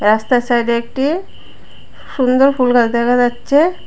রাস্তার সাইডে একটি সুন্দর ফুল গাছ দেখা যাচ্ছে।